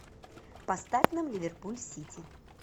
поставь нам ливерпуль сити